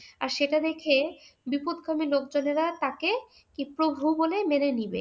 আর সেটা দেখে বিপথগামী লোকজনেরা তাকে প্রভু বলে মেনে নেবে।